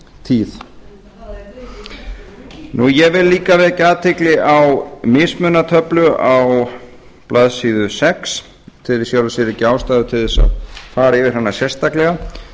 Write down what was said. tíð ég vil líka vekja athygli á mismunatöflu á blaðsíðu sex tel í sjálfu sér ekki ástæðu til þess að fara yfir hana sérstaklega